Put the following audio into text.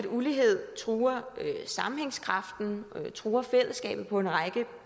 ulighed truer sammenhængskraften truer fællesskabet på en række